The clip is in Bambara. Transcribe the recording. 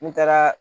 N taara